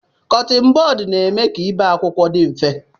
Kọttin bọd na-eme ka ibie akwụkwọ dị mfe